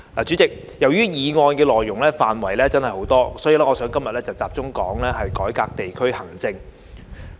主席，由於議案內容涵蓋很多範疇，所以，今天我想集中說說改革地區行政。